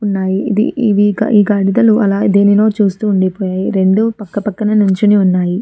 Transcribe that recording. ఉన్నాయి ఇది ఇవి గ ఈ గాడిదెలు ఆలా దేనినో చూస్తూ ఉండిపోయాయి రెండు పక్క పక్కన నిల్చొని ఉన్నాయి.